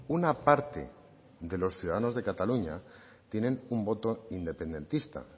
una parte de los ciudadanos de cataluña tienen un voto independentista